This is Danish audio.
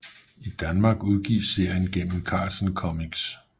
I Danmark udgives serien gennem Carlsen Comics